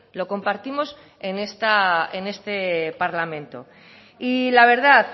lo compartimos en este parlamento y la verdad